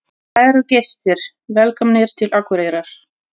Kæru gestir! Velkomnir til Akureyrar.